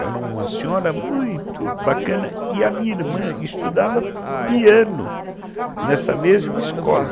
Era uma senhora muito bacana e a minha irmã estudava piano nessa mesma escola.